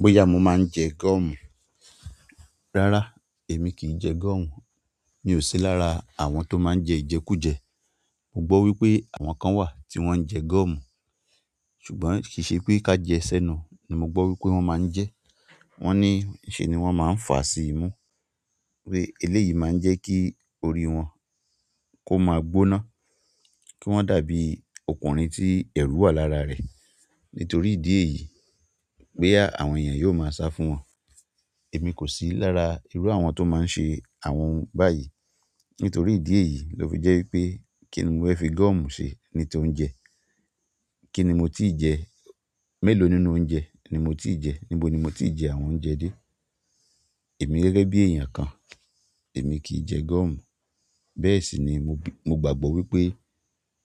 Bóyà mo máa ń jẹ gọ́ọ̀mù. Rárá, èmi kì í jẹ gọ́ọ̀mù. Mi ò sí lára àwọn tó máa ń jẹ ìjẹkújẹ. Mo gbọ́ wípé àwọn kan wà tí wón ń jẹ gọ́ọ̀mù. Ṣùgbọ́n kìí ṣe pé ká jẹ sẹ́nu ni mo gbọ́ wípé wón máa ń jẹ. Wón ní ìṣe ni wón máa ń fà á sí imú, pé eléyìí máa ń jẹ́ kí orí wọn kó máa gbóná, kí wọ́n dàbí ọkùnrin tí ẹ̀rù wà lára rẹ̀. Nítorí ìdí èyí pé boya àwọn èèyàn yóò máa sá fún wọn. Èmi kò sí lára irú àwọn tó máa ń ṣe àwọn ohun báyìí. Nítorí idi èyí lo fi je wípé kini mo fe fi goomu se? Pe ni ti óuńjẹ? Kíni mo ti jẹ? Mélòó nínú oúnjẹ ni mo ti jẹ? Níbo ni mo ti jẹ àwọn oúnjẹ dé? Èmi gẹ́gẹ́ bí èèyàn kan, èmi kì í jẹ gọ́ọ̀mù. Bẹ́ẹ̀ sì ni mo gbàgbọ́ wípé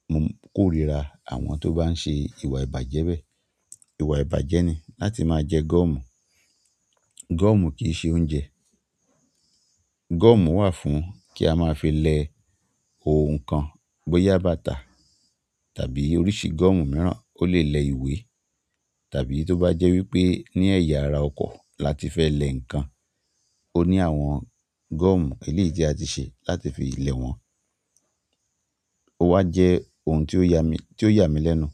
mo korira àwọn to ba n se ìwà ibaje be. Ìwà ìbàjẹ́ ni láti máa jẹ gọ́ọ̀mù. Gọ́ọ̀mù kì í ṣe oúnjẹ. Gọ́ọ̀mù wà fún kí a máa fi le òun kan, bóyà bàtà tàbí oríṣii gọ́ọ̀mù mìíràn ó lè lẹ ìwé. Tàbí tó bá jẹ́ wípé ní ẹ̀yà ara ọkọ̀ la ti fẹ́ lẹ ǹnkan, ó ní àwọn gọ́ọ̀mù eléyi ti a ti ṣe láti fi lẹ wọn. Ó wá jẹ́ ohun tí ó yà mi--ti o ya mí lẹ́nu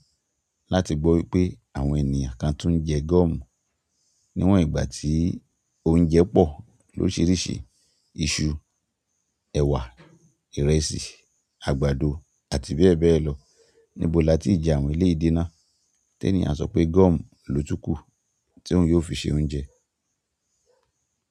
láti gbọ́ wípé àwọn ènìyàn kan tún jẹ gọ́ọ̀mù. Niwon ìgbà ti oúnjẹ po lorisiirisii, isu, ewa, ìrẹsì, àgbàdo àti bẹ́ẹ̀ bẹ́ẹ̀ lo. Níbo la ti í jẹ àwọn eléyi de nà? Ti ẹ́níyàń a sọ pé gọ́ọ̀mù lo tún kù tí oun yóò fi ṣe oúnjẹ.